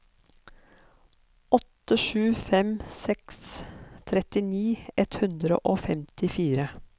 åtte sju fem seks trettini ett hundre og femtifire